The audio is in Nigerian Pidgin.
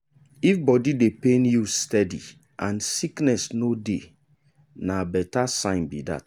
if body dey pain you steady and sickness no dey na better sign be that.